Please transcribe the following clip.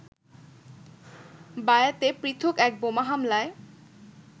বায়াতে পৃথক এক বোমা হামলায়